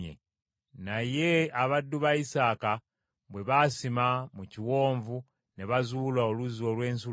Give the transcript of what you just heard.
Naye abaddu ba Isaaka bwe basima mu kiwonvu ne bazuula oluzzi olw’ensulo,